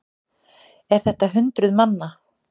Er þetta hundruð manna?